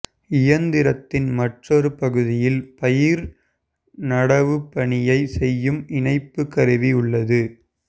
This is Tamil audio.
இயந்திரத்தின் மற்றொறு பகுதியில் பயிர் நடவுபணியை செய்யும் இணைப்பு கருவி உள்ளது